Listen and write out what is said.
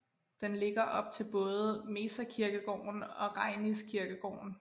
Den ligger op til både Mežakirkegården og Rainiskirkegården